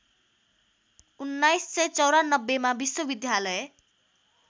१९९४ मा विश्वविद्यालय